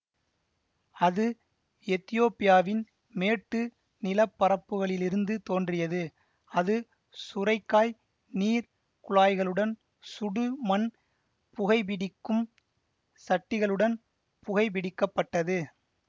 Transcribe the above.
அது எத்தியோப்பியாவின் மேட்டு நில பரப்புகளிலிருந்து தோன்றியது அது சுரைக்காய் நீர் குழாய்களுடன் சுடு மண் புகைபிடிக்கும் சட்டிகளுடன் புகைபிடிக்கப்பட்டது